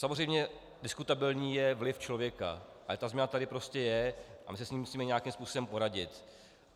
Samozřejmě diskutabilní je vliv člověka, ale ta změna tady prostě je a my si s ní musíme nějakým způsobem poradit.